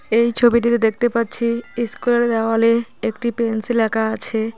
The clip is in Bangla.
এই ছবিটিতে দেখতে পাচ্ছি ইস্কুলের দেওয়ালে একটি পেন্সিল আঁকা আছে।